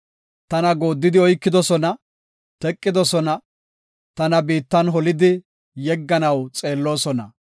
Tana gooddidi oykidosona; teqidosona; tana biittan holidi yegganaw xeelloosona.